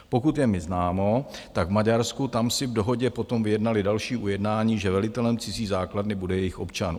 Pokud je mi známo, tak v Maďarsku, tam si v dohodě potom vyjednali další ujednání, že velitelem cizí základny bude jejich občan.